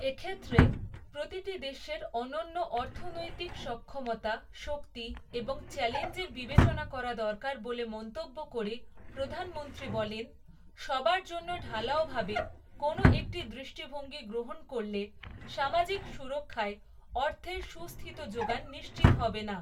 এক্ষেত্রে, প্রতিটি দেশের অনন্য অর্থনৈতিক সক্ষমতা, শক্তি এবং চ্যালেঞ্জের বিবেচনা করা দরকার বলে মন্তব্য করে প্রধানমন্ত্রী বলেন, সবার জন্য ঢালাওভাবে কোনো একটি দৃষ্টিভঙ্গি গ্রহণ করলে, সামাজিক সুরক্ষায় অর্থের সুস্থিত যোগান নিশ্চিত হবে না।